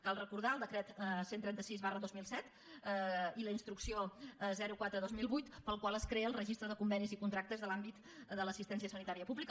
cal recordar el decret cent i trenta sis dos mil set i la instrucció quatre dos mil vuit pel qual es crea el registre de convenis i contractes de l’àmbit de l’assistència sanitària pública